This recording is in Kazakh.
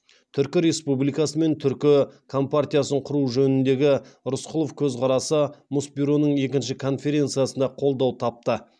түркі республикасы мен түркі компартиясын құру жөніндегі рысқұлов көзқарастары мұсбюроның екінші конференциясында қолдау тапты